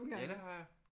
Ja det har jeg